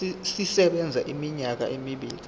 sisebenza iminyaka emibili